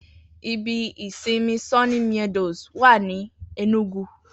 Ibi ìsinmi Sunny Meadows wa ní Ẹnúgu